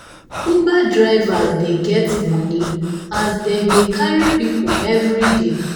uber drivers dey get money as them dey carry people everyday.